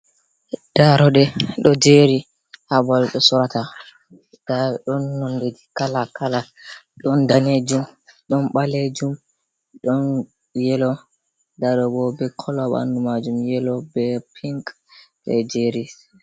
Ɗaroɗe ɗo jeri habaɓal bé sorata, ɗa ɗon nonɗe kala- kala ɗon ɗanejum ɗon balejum don yelo ɗa ɗoɓo ɓe kàla banɗu majum yelo ɓe pink ɓe jeris.